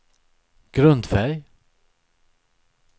grundfärg